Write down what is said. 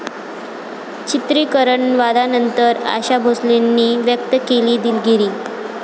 चित्रिकरण वादानंतर आशा भोसलेंनी व्यक्त केली दिलगिरी